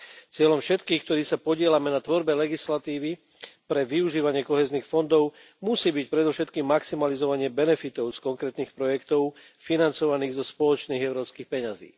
Cieľom všetkých, ktorí sa podieľame na tvorbe legislatívy pre využívanie kohéznych fondov, musí byť predovšetkým maximalizovanie benefitov z konkrétnych projektov financovaných zo spoločných európskych peňazí.